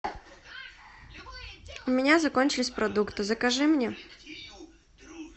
у меня закончились продукты закажи мне